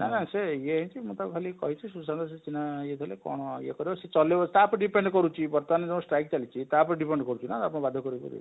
ହଁ ସେ ଇଏ ହେଇଛି ମୁଁ ତାକୁ ଖାଲି କହିଛି ସୁଶାନ୍ତ ସୂଚନା ଇଏ କଲେ କଣ ଇଏ କରିବ ସେ ଚଳେଇବ ତା ଉପରେ depend କରୁଛି ବର୍ତ୍ତମାନ ଯୋଉ striek ଚାଲିଛି ତା ଉପରେ depend କରୁଛି ନା ବାଧ୍ୟ କରି କରି